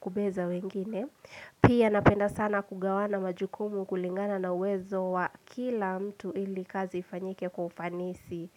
kubeza wengine Pia napenda sana kugawana majukumu kulingana na uwezo wa kila mtu ili kazi ifanyike kwa ufanisi.